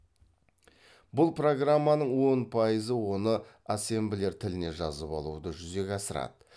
бұл программаның он пайызы оны ассемблер тіліне жазып алуды жүзеге асырады